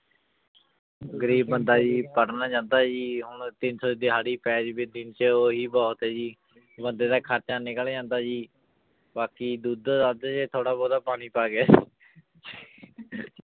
ਗ਼ਰੀਬ ਬੰਦਾ ਜੀ ਪੜ੍ਹਨ ਜਾਂਦਾ ਜੀ ਹੁਣ ਤਿੰਨ ਸੌ ਦਿਹਾੜੀ ਪੈ ਜਾਵੇ ਦਿਨ ਚ ਉਹੀ ਬਹੁਤ ਹੈ ਜੀ ਬੰਦਾ ਦਾ ਖ਼ਰਚਾ ਨਿਕਲ ਜਾਂਦਾ ਜੀ ਬਾਕੀ ਦੁੱਧ ਦੱਧ ਚ ਥੋੜ੍ਹਾ ਬਹੁਤਾ ਪਾਣੀ ਪਾ ਕੇ